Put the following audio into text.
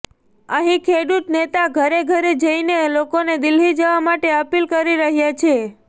અહીં ખેડૂત નેતા ઘરે ઘરે જઇને લોકોને દિલ્હી જવા માટે અપીલ કરી રહ્યાં છે